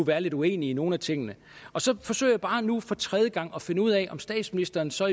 være lidt uenig i nogle af tingene og så forsøger jeg bare nu for tredje gang at finde ud af om statsministeren så